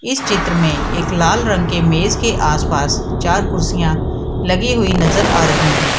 इस चित्र में एक लाल रंग के मेज के आसपास चार कुर्सियाँ लगी हुई नजर आ रही हैं।